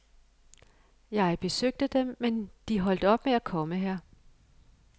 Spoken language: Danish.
Jeg besøgte dem, men de holdt op med at komme her.